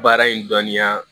Baara in dɔnniya